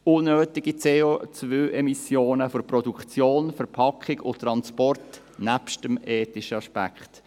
Das sind unnötige CO-Emissionen für die Produktion, die Verpackung und den Transport, abgesehen vom ethischen Aspekt.